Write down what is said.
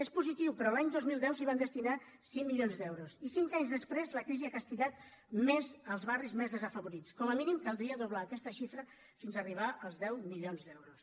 és positiu però l’any dos mil deu s’hi van destinar cinc milions d’euros i cinc anys després la crisi ha castigat més els barris més desafavorits com a mínim caldria doblar aquesta xifra fins arribar als deu milions d’euros